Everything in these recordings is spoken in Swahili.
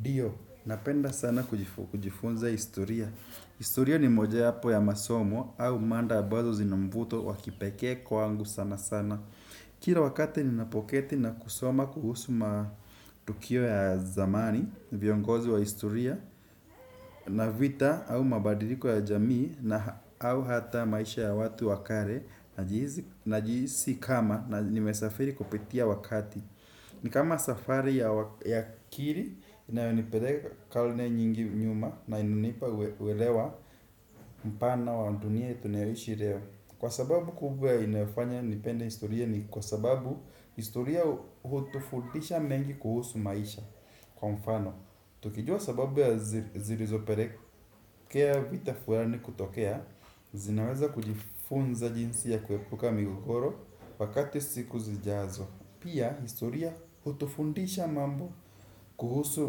Ndio, napenda sana kujifunza historia. Historia ni moja wapo ya masomo au mada abazo zinamvuto wa kipekee kwangu sana sana. Kila wakati ninapoketi na kusoma kuhusu matukio ya zamani, viongozi wa historia na vita au mabadiliko ya jamii au hata maisha ya watu wa kale, najihisi kama nimesafiri kupitia wakati. Ni kama safari ya akili inayonipeleka karne nyingi nyuma na inanipa uelewa mpana wa dunia tunayoishi leo. Kwa sababu kubwa inayofanya nipende historia ni kwa sababu historia hutufundisha mengi kuhusu maisha. Kwa mfano, tukijua sababu ya zilizo pelekea vita fulani kutokea, zinaweza kujifunza jinsi ya kuepuka migogoro wakati siku zijazo. Pia, historia hutufundisha mambo kuhusu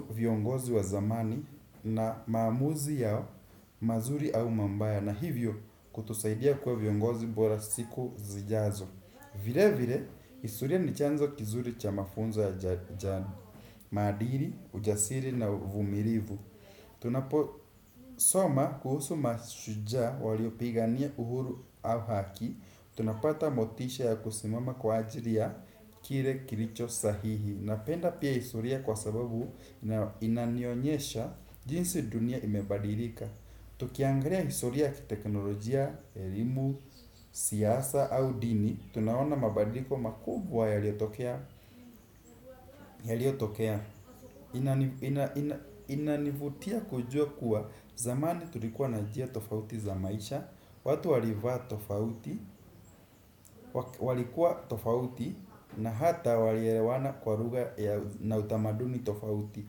viongozi wa zamani na maamuzi yao, mazuri au mabaya na hivyo kutusaidia kuwa viongozi bora siku zijazo. Vile vile, historia ni chanzo kizuri cha mafunzo ya maadili, ujasiri na uvumilivu. Tunaposoma kuhusu mashujaa waliopigania uhuru au haki tunapata motisha ya kusimama kwa ajili ya kile kilichosahihi. Napenda pia historia kwa sababu inanionyesha jinsi dunia imebadilika. Tukiangelia historia ya kiteknolojia, elimu, siasa au dini, tunaona mabadiliko makubwa yaliyotokea inanivutia kujua kuwa zamani tulikuwa nanjia tofauti za maisha. Watu walivaa tofauti, walikuwa tofauti na hata walielewana kwa lugha na utamaduni tofauti.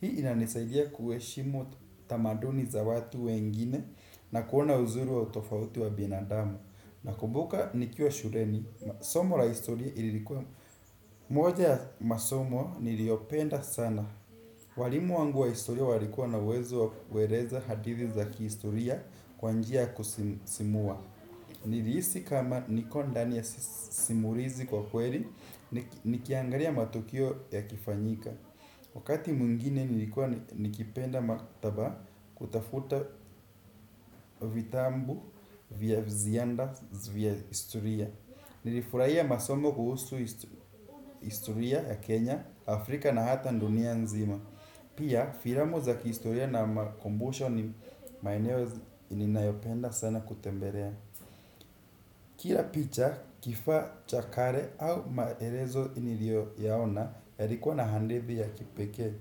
Hii inanisaidia kuheshimu tamaduni za watu wengine na kuona uzuri wa utofauti wa binadamu. Nakumbuka nikiwa shuleni, somo la historia ilikuwa moja ya masomo niliopenda sana. Walimu wangu wa historia walikuwa na uwezo wa kueleza hadithi za kihistoria kwa njia ya kusisimua. Nilihisi kama niko ndani ya simulizi kwa ukweli, nikiangalia matukio yakifanyika. Wakati mwingine nilikuwa nikipenda maktaba kutafuta vitabu vya viziada vya historia. Nilifurahia masomo kuhusu historia ya Kenya, Afrika na hata dunia nzima. Pia filamu za kihistoria na makumbusho ni maeneo ninayopenda sana kutembelea. Kila picha, kifaa cha kale au maelezo niliyoyaona, yalikua na hadithi ya kipekee.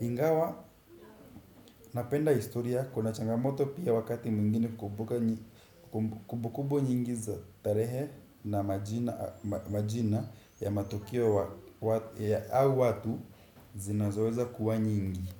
Ingawa napenda historia, kuna changamoto pia wakati mwingine kumbuka ni kumbukumbu nyingi za tarehe na majina ya matokeo au watu zinazoweza kuwa nyingi.